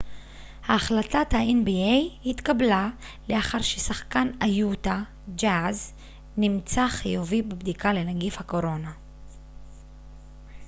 החלטת האן.בי.איי התקבלה לאחר ששחקן היוטה ג'אז נמצאר חיובי בבדיקה לנגיף הקורונה